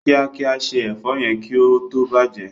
kíákíá se èfó yén kí ó tó bàjé.